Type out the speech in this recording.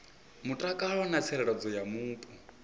mutakalo na tsireledzo ya mupo